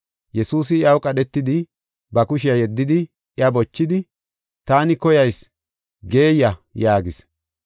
Yesuusi iyaw qadhetidi, ba kushiya yeddidi iya bochidi, “Taani koyayis, geeyiya” yaagis.